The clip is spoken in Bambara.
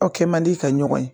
Aw kɛ man di ka ɲɔgɔn ye